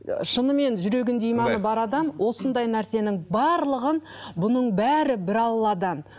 шынымен жүрегінде иманы бар адам осындай нәрсенің барлығын бұның бәрі бір алладан